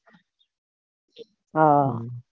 હા